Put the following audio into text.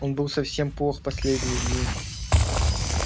он был совсем плох в последние дни